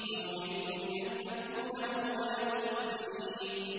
وَأُمِرْتُ لِأَنْ أَكُونَ أَوَّلَ الْمُسْلِمِينَ